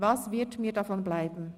Was wird mir davon bleiben?